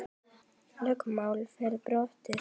Lögmál yrði brotið.